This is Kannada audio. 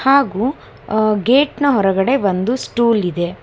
ಹಾಗು ಅ ಗೇಟ್ ನ ಹೊರಗಡೆ ಒಂದು ಸ್ಟೂಲ್ ಇದೆ.